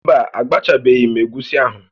Mba, agbachabeghị m egusi ahụ